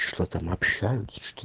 что там общаются